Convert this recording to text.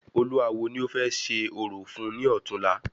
Olúawo ni o fẹ ṣe orò fún ni ọ̀túnla